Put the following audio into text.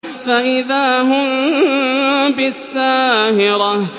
فَإِذَا هُم بِالسَّاهِرَةِ